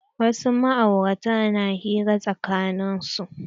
Wasu ma'aurata na hira tsakanin su.